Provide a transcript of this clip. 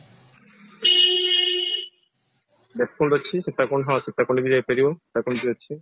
ଦେବକୁଣ୍ଡ ଅଛି ସୀତାକୁଣ୍ଡ ହଁ ସୀତାକୁଣ୍ଡ ବି ହେଇପାରିବ ସୀତାକୁଣ୍ଡ ବି ଅଛି